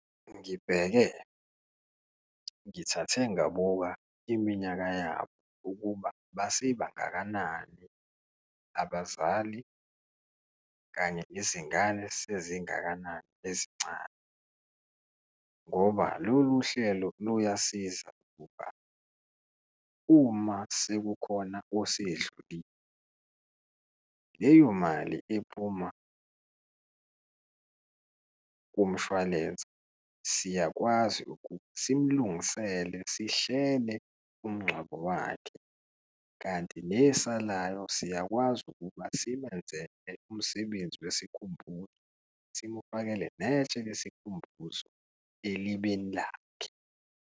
Ngibheke, ngithathe ngabuka iminyaka yabo ukuba base bangakanani abazali kanye izingane sezingakanani ezincane ngoba lolu hlelo luyasiza ngokuba uma sekukhona osedlulile, leyo mali iphuma kumshwalense, siyakwazi ukuba simlungisele, sihlele umngcwabo wakhe, kanti nesalayo siyakwazi ukuba simenzele umsebenzi wesikhumbuzo, simufake netshe lesikhumbuzo elibeni lakhe.